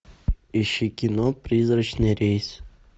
ищи кино призрачный рейс